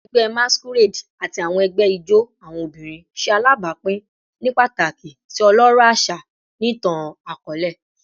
Awọn ẹgbẹ Masquerade ati awọn ẹgbẹ ijó awọn obinrin ṣe alabapin ni pataki si ọlọrọ aṣa ni itan-akọọlẹ